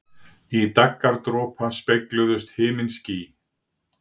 Í daggardropa spegluðust himinský.